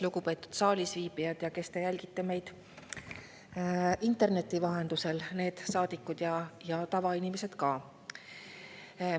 Lugupeetud saalis viibijad ja, kes te jälgite meid interneti vahendusel – saadikud ja tavainimesed ka!